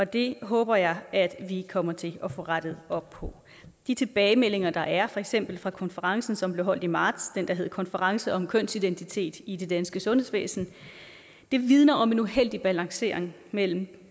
det håber jeg at vi kommer til at få rettet op på de tilbagemeldinger der er for eksempel fra konferencen som blev holdt i marts den der hed konference om kønsidentitet i det danske sundhedsvæsen vidner om en uheldig balancering mellem